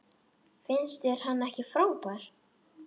Finnst þér hann ekki frábær?